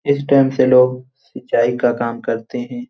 इस टाइम से लोग सिंचाई का काम करते हैं।